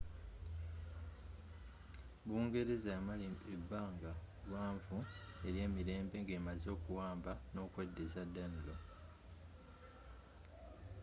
bungereza yamala ebbanga gwanvu eryemirembe ng'emaze okuwamba nokweddiza danelaw